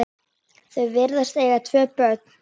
Þau virðast eiga tvö börn.